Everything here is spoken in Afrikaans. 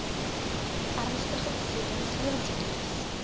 ernstige beserings lewensverlies